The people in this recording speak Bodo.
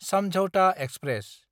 सामझावथा एक्सप्रेस